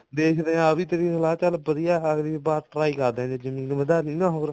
ਦੇਖਦੇ ਆਂ ਆਹ ਵੀ ਤੇਰੀ ਸਲਾਹ ਚਲ ਵਧੀਆ ਅਗਲੀ ਵਾਰ try ਕਰਦੇ ਹਾਂ ਜੇ ਜਮੀਨ ਵਧਾ ਲਈ ਨਾ ਹੋਰ